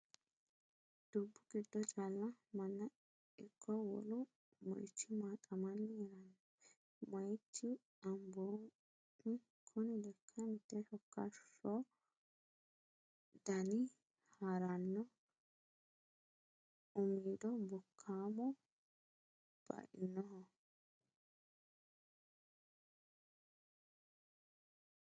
Dubbu giddo calla manna ikko wolu moicho maxamanni heerano moichi Amboomi kuni lekka mite shokashoho dinanni harano umido bokkamo bainoho.